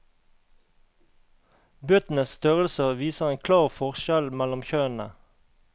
Bøtenes størrelse viser en klar forskjell mellom kjønnene.